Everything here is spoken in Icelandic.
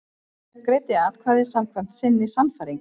Greiddi atkvæði samkvæmt sinni sannfæringu